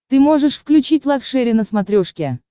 ты можешь включить лакшери на смотрешке